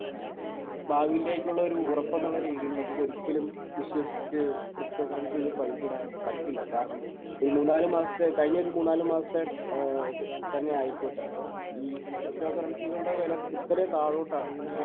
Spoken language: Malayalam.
ഏഹ് ഭാവിയിലേക്കുള്ളൊരു ഉറപ്പെന്നുള്ളൊരു രീതിയിൽ നമുക്ക് ഒരിക്കലും വിശ്വസിച്ച് ക്രിപ്റ്റോ കറൻസിയിൽ പൈസയിടാൻ പറ്റില്ല. കാരണം ഒരു മൂന്ന് നാല് മാസത്തെ കഴിഞ്ഞ ഒരു മൂന്ന് നാല് മാസത്തെ ഏഹ് തന്നെ ആയിക്കോട്ടെ, ഈ ക്രിപ്റ്റോ കറൻസികളുടെ വില കുത്തനെ താഴോട്ടാണ് പോ